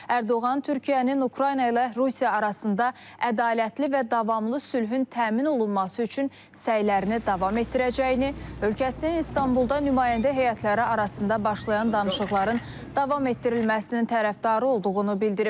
Ərdoğan Türkiyənin Ukrayna ilə Rusiya arasında ədalətli və davamlı sülhün təmin olunması üçün səylərini davam etdirəcəyini, ölkəsinin İstanbulda nümayəndə heyətləri arasında başlayan danışıqların davam etdirilməsinin tərəfdarı olduğunu bildirib.